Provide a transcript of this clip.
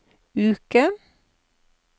uke